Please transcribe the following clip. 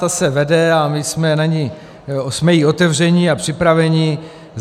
Ta se vede a my jsme jí otevřeni a připraveni.